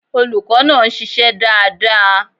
Olùkó náà nsisé dáadáa